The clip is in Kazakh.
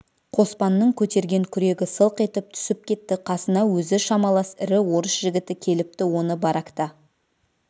қоспанның көтерген күрегі сылқ етіп түсіп кетті қасына өзі шамалас ірі орыс жігіті келіпті оны баракта